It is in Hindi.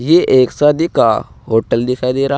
ये एक शादी का होटल दिखाई दे रहा है।